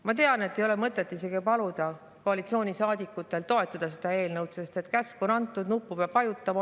Ma tean, et ei ole mõtet isegi paluda koalitsioonisaadikuid toetada seda eelnõu, sest käsk on antud, nuppu peab vajutama.